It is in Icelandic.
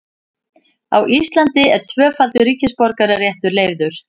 Á Íslandi er tvöfaldur ríkisborgararéttur leyfður.